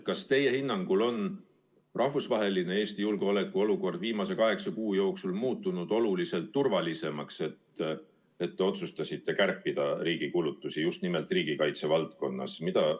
Kas teie hinnangul on Eesti jaoks rahvusvaheline julgeolekuolukord viimase kaheksa kuu jooksul muutunud oluliselt turvalisemaks, et te otsustasite kärpida riigi kulutusi just nimelt riigikaitse valdkonnas?